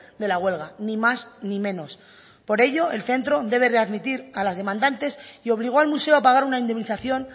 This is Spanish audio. de la huelga ni más ni menos por ello el centro debe readmitir a las demandantes y obligó al museo a pagar una indemnización